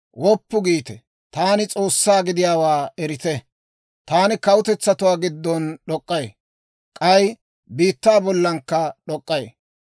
Woppu giite; taani S'oossaa gidiyaawaa erite. Taani kawutetsatuwaa giddon d'ok'k'ay. K'ay biittaa bollankka d'ok'k'ay.